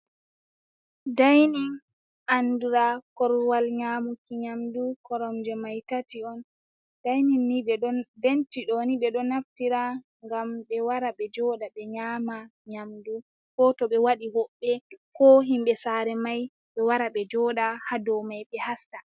Dainin andura korwal nyamuki nyamdu koromje mai tati on. Dainin ni bentidoni ɓe ɗo naftira ngam ɓe wara ɓe joda ɓe nyama nyamdu ko to ɓe waɗi hoɓbe ko himɓe sare mai ɓe wara ɓe joɗa ha do mai ɓe hasta.